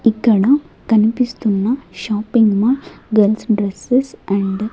ఇక్కడ కనిపిస్తున్న shopping mall girls dresses and --